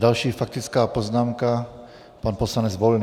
Další faktická poznámka, pan poslanec Volný.